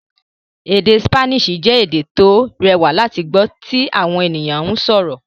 Èdè Spanish jẹ́ èdè tó rẹwà láti gbọ́ tí àwọn ènìyàn ń sọ̀rọ̀